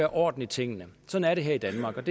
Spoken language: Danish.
orden i tingene sådan er det her i danmark